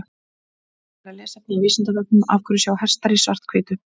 Frekara lesefni á Vísindavefnum Af hverju sjá hestar í svart-hvítu?